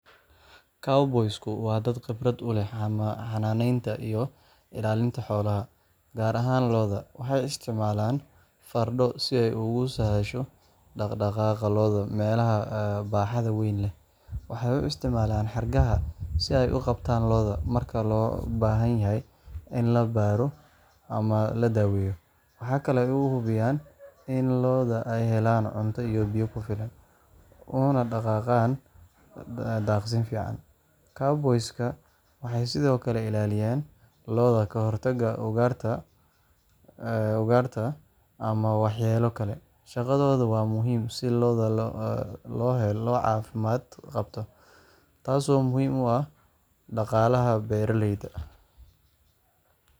Cowboys-ku waa dad khibrad u leh xanaaneynta iyo ilaalinta xoolaha, gaar ahaan lo’da. Waxay isticmaalaan fardo si ay ugu sahasho dhaq-dhaqaaqa lo’da meelaha baaxadda weyn leh. Waxay u isticmaalaan xargaha si ay u qabtaan lo’da marka loo baahan yahay in la baaro ama la daweeyo. Waxa kale oo ay hubiyaan in lo’da ay helaan cunto iyo biyo ku filan, una dhaqaaqaan daaqsin fiican. Cowboys-ka waxay sidoo kale ilaalinayaan lo’da ka hortagga ugaarta ama waxyeelo kale. Shaqadoodu waa muhiim si loo helo lo’ caafimaad qabta, taasoo muhiim u ah dhaqaalaha beeralayda